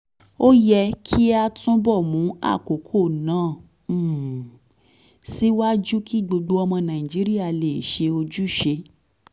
ó yẹ kí a túbọ̀ mú àkókò náà um síwájú kí gbogbo ọmọ nàìjíríà lè ṣe ojúṣe